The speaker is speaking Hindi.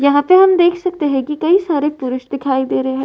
यहाँ पे हम देख सकते है कि कई सारे पुरुष दिखाई दे रहे हैं।